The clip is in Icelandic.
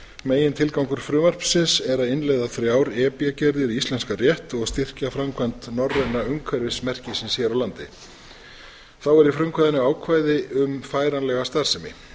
megintilgangur frumvarpsins er að innleiða þrjá e b gerðir í íslenskan rétt og að styrkja framkvæmd norræna umhverfismerkisins hér á landi þá er í frumvarpinu ákvæði um færanlega starfsemi